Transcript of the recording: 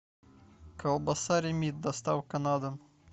колбаса ремит доставка на дом